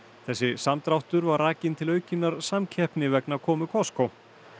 þessi samdráttur var rakinn til aukinnar samkeppni vegna komu Costco